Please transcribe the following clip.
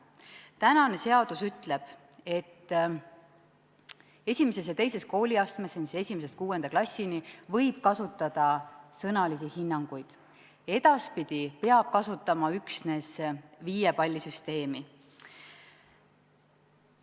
Tänane seadus ütleb, et I ja II kooliastmes – s.o 1.–6. klassini – võib kasutada sõnalisi hinnanguid, edaspidi peab kasutama üksnes viiepallisüsteemi.